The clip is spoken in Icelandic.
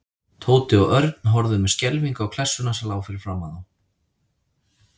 Tóti og Örn horfðu með skelfingu á klessuna sem lá fyrir framan þá.